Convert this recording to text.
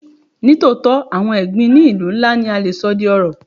Ní tòótọ́, àwọn ẹ̀gbin ní ìlú ńlá ni a le sọ di ọrọ̀.